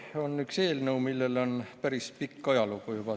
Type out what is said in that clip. See on eelnõu, millel on juba päris pikk ajalugu.